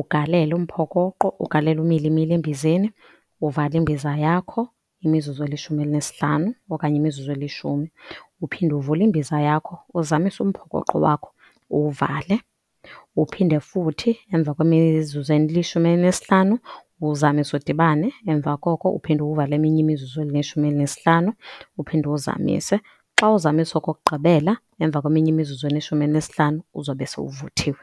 ugalele umphokoqo, ugalele umilimili embizeni, uvale imbiza yakho imizuzu elishumi elinesihlanu okanye imizuzu elishumi, uphinde uvule imbiza yakho uzamise umphokoqo wakho uwuvale. Uphinde futhi emva kwemizuzu elishumi elinesihlanu uwuzamise udibane, emva koko uphinde uwuvale eminye imizizu elineshumi elinesihlanu uphinde uwuzamise. Xa uwuzamisa okokugqibela emva kweminye imizuzu elishumini elinesihlanu uzobe sowuvuthiwe.